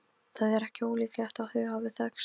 Svörfuður, hvar er dótið mitt?